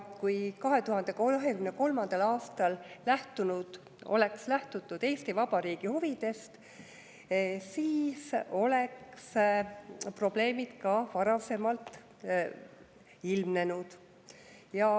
Kui 2023. aastal oleks lähtutud Eesti Vabariigi huvidest, siis oleks probleemid ka varasemalt ilmnenud.